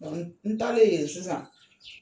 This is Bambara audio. n talen yen sisan